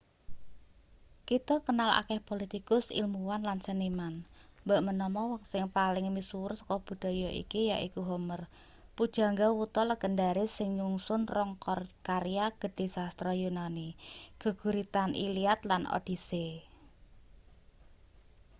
kita kenal akeh politikus ilmuwan lan seniman mbok menawa wong sing paling misuwur saka budaya iki yaiku homer pujangga wuta legendaris sing nyungsun rong karya gedhe sastra yunani geguritan iliad lan odyssey